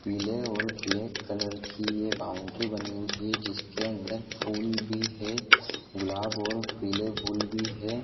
पीले और black colour की ये बाउंड्री बानी हुई हैं जिसके अंदर फूल भी हैं गुलाब और पीले फूल भी हैं।